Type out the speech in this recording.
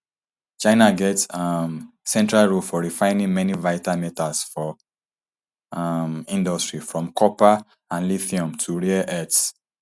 china get um central role for refining many vital metals for um industry from copper and lithium to rare earths